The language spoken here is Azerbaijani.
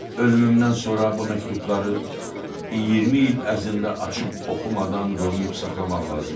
Ölümümdən sonra bu məktubları 20 il ərzində açıb oxumadan qoruyub saxlamaq lazımdır.